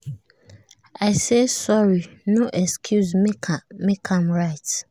i say sorry no excuse make am right